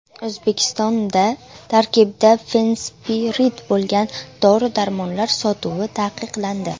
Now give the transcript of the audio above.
O‘zbekistonda tarkibida fenspirid bo‘lgan dori-darmonlar sotuvi taqiqlandi.